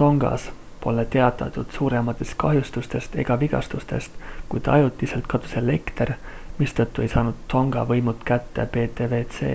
tongas pole teatatud suurematest kahjustustest ega vigastustest kuid ajutiselt kadus elekter mistõttu ei saanud tonga võimud kätte ptwc